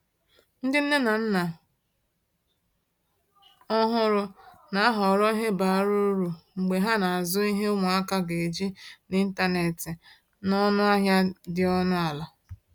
Ndị nne na nna ọhụrụ na-ahọrọ ihe bara uru mgbe ha na-azụ ihe ụmụaka ga-eji n’ịntanetị n’ọnụ ahịa dị ọnụ ala.